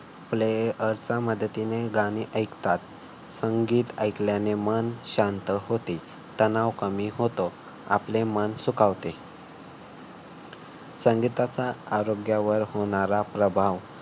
आपले आसा मदतीने गाणे ऐकतात. संगीत ऐकल्याने मन शांत होते. तणाव कमी होतो. आपले मन सुखावते. संगीताचा आरोग्यावर होणारा प्रभाव.